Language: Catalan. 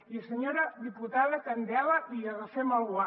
i senyora diputada candela li agafem el guant